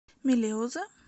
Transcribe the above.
мелеузе